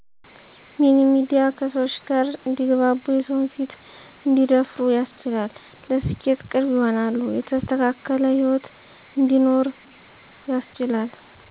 ሚኒ ሚድያ ከሰወች ጋር እንዲግባቡ የሰዉን ፊት እንዲደፍሩ ያስችላል ለስኬት ቅርብ ይሆናሉ የተስተካከለ ሂወት እንዲኖሩ ያስችላል።